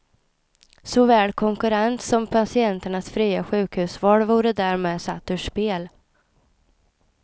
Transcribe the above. Såväl konkurrens som patienternas fria sjukhusval vore därmed satt ur spel.